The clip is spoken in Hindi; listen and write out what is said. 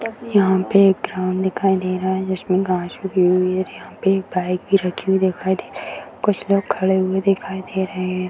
यहां पे एक ग्राउंड दिखाई दे रहा है जिसमें गाछ उगी हुई है और यहां पे एक बाइक भी रखी हुई दिखाई दे रही है कुछ लोग खड़े हुए दिखाई दे रहे हैं।